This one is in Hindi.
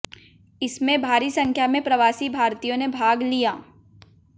इसमें भारी संख्या में प्रवासी भारतीयों ने भाग लिया